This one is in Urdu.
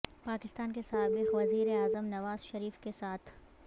پاکستان کے سابق وزیر اعظم نواز شریف کے ساتھ